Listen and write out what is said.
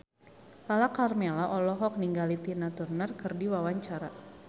Lala Karmela olohok ningali Tina Turner keur diwawancara